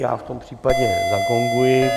Já v tom případě zagonguji.